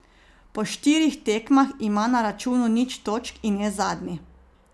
Po štirih tekmah ima na računu nič točk in je zadnji.